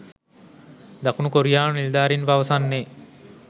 දකුණු කොරියානු නිලධාරීන් පවසන්නේ